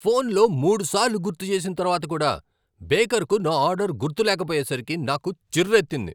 ఫోన్లో మూడు సార్లు గుర్తు చేసిన తర్వాత కూడా బేకర్కు నా ఆర్డర్ గుర్తులేకపోయేసరికి నాకు చిర్రెత్తింది.